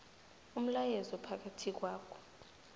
umlayezo phakathi kwakho